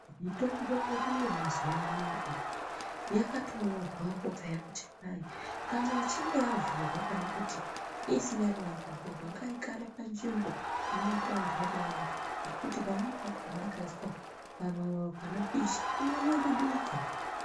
Mitombo yedu ye mazuva anaya iyi yakato nyorwapo peya kuti kwai kana ichinge yavhurwa kana kuti isinyarina kuvhurwa ngai gare pa nzvimbo ino tondorera ngekuti pamweni pakona ika iswa pa mavava pano pisha ino nyungu duka.